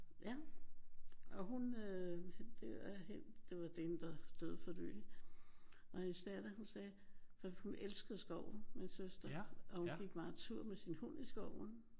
Ja. Og hun øh det er helt det var hende der døde for nyligt. Og hendes datter hun sagde hun elskede skoven min søster og hun gik meget tur med sin hund i skoven